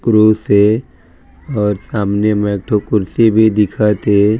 Cross हे और सामने म एकठो कुर्सी भी दिखत हे।